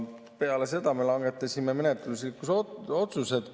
Peale seda me langetasime menetluslikud otsused.